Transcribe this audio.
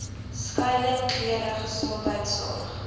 skuiling klere gesondheidsorg